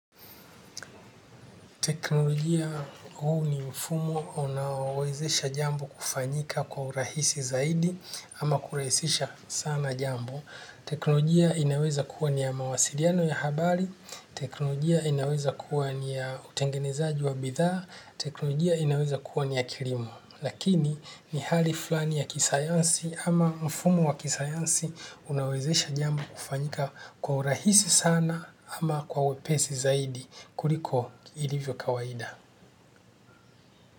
Teknolojia huu ni mfumo unaowezesha jambo kufanyika kwa urahisi zaidi ama kurahisisha sana jambo. Teknolojia inaweza kuwa ni ya mawasiliano ya habari, teknolojia inaweza kuwa ni ya utengenezaji wa bidhaa, teknolojia inaweza kuwa ni ya kilimo. Lakini ni hali fulani ya kisayansi ama mfumo wa kisayansi unaowezesha jambo kufanyika kwa urahisi sana ama kwa wepesi zaidi kuliko ilivyo kawaida.